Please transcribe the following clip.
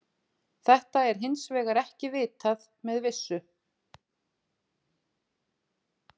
Þetta er hins vegar ekki vitað með vissu.